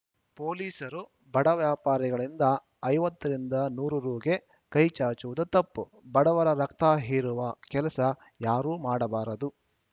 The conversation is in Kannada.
ಪೊಲೀಸರು ಬಡ ವ್ಯಾಪಾರಿಗಳಿಂದ ಐವತ್ತ ರಿಂದ ನೂರ ರುಗೆ ಕೈ ಚಾಚುವುದು ತಪ್ಪು ಬಡವರ ರಕ್ತ ಹೀರುವ ಕೆಲಸ ಯಾರೂ ಮಾಡಬಾರದು